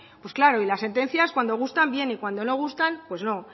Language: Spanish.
pues claro y las sentencias cuando gustan bien y cuando no gustan pues no